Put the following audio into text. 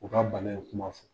U ka bana in kuma fɔ.